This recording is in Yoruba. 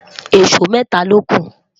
ìsọ mẹta loku